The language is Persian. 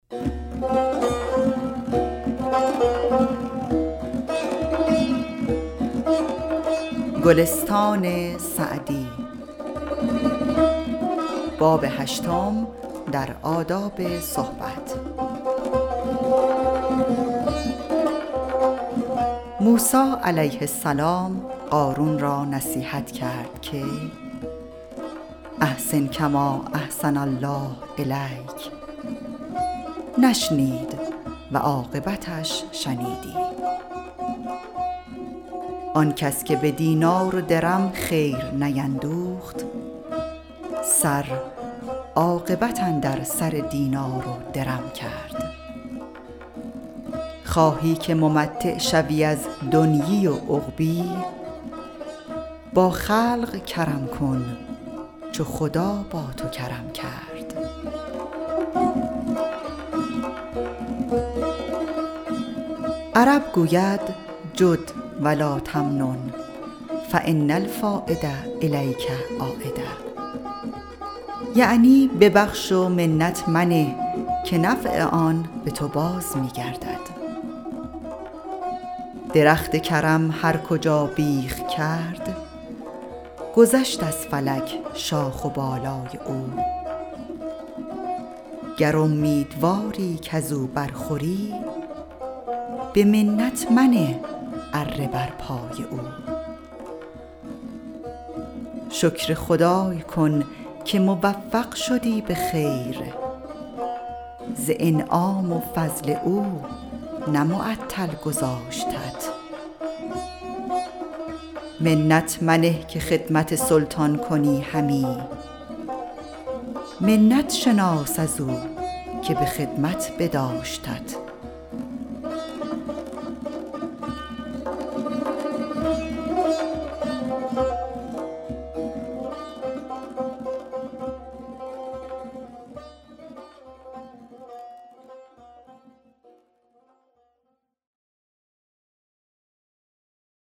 موسی علیه السلام قارون را نصیحت کرد که احسن کما احسن الله الیک نشنید و عاقبتش شنیدی آن کس که به دینار و درم خیر نیندوخت سر عاقبت اندر سر دینار و درم کرد خواهی که ممتع شوی از دنیا و عقبا با خلق کرم کن چو خدا با تو کرم کرد عرب گوید جد و لاتمنن فان الفایدة الیک عایدة یعنی ببخش و منت منه که نفع آن به تو باز می گردد درخت کرم هر کجا بیخ کرد گذشت از فلک شاخ و بالای او گر امیدواری کز او بر خوری به منت منه اره بر پای او شکر خدای کن که موفق شدی به خیر ز انعام و فضل او نه معطل گذاشتت منت منه که خدمت سلطان کنی همی منت شناس از او که به خدمت بداشتت